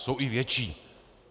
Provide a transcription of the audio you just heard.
Jsou i větší.